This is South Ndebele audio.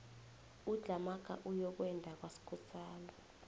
udlhamaga uyokwenda kwaskosana